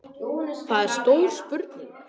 Það er stór spurning